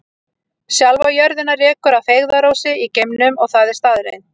Sjálfa jörðina rekur að feigðarósi í geimnum og það er staðreynd.